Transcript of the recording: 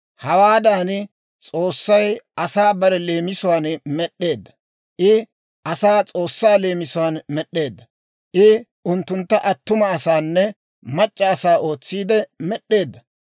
Hawaadan S'oossay asaa bare leemisuwaan med'd'eedda; I asaa S'oossaa leemisuwaan med'd'eedda; I unttuntta attuma asaanne mac'c'a asaa ootsiide med'd'eedda.